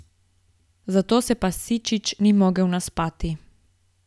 Zato se pa Sičič ni mogel naspati.